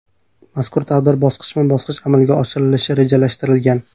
Mazkur tadbir bosqichma-bosqich amalga oshirilishi rejalashtirilgan.